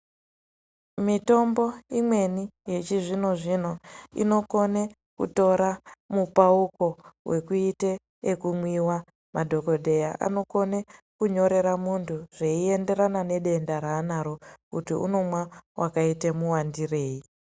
Mitombo imweni yechizvino zvino inokone kutora mupauko wekuite ekumwiwa madhokodheya anokone kunyorere muntu zveiyenderana nedenda raanaro kuti unomwa wakaitei muwandire.